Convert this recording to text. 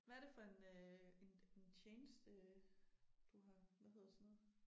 Hvad det for en øh en en tjeneste du har hvad hedder sådan noget